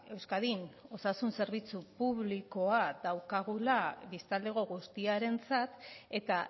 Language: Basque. euskadin osasun zerbitzu publikoa daukagula biztanlego guztiarentzat eta